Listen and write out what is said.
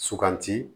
Suganti